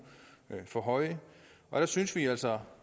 der for høje der synes vi altså